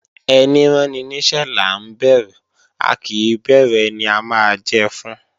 Ẹní ráni níṣẹ́ là ń bẹ̀rù a kì í bẹ̀rù ẹni a máa jẹ fún